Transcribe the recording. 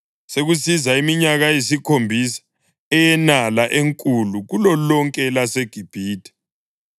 Sekusiza iminyaka eyisikhombisa eyenala enkulu kulolonke elaseGibhithe,